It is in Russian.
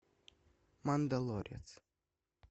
мандалорец